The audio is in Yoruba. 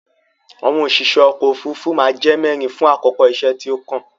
Àwọn òṣìṣe ọkò òfurufú má a jẹ́ mẹ́rin fún àkókò iṣẹ́ tí ó kàn.